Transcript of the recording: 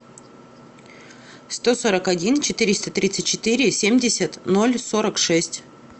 сто сорок один четыреста тридцать четыре семьдесят ноль сорок шесть